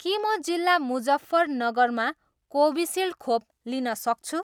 के म जिल्ला मुजफ्फरनगरमा कोभिसिल्ड खोप लिन सक्छु